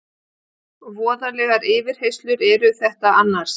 Voðalegar yfirheyrslur eru þetta annars.